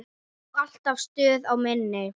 Og alltaf stuð á minni.